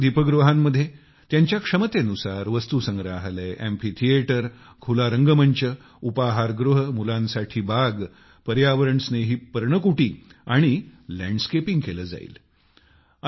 या सर्व दीपगृहांमध्ये त्यांच्या क्षमतेनुसार वस्तूसंग्रहालय अॅम्फीथिएटर खुला रंगमंच उपाहार गृह मुलांसाठी बाग पर्यावरणस्नेही पर्णकुटी आणि लँडस्केपिंग केले जाईल